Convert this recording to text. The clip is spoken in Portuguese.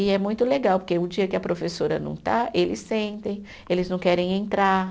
E é muito legal, porque o dia que a professora não está, eles sentem, eles não querem entrar.